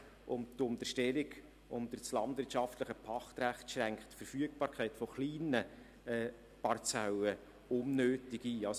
Und die Unterstellung unter das landwirtschaftliche Pachtrecht schränkt die Verfügbarkeit kleiner Parzellen unnötig ein.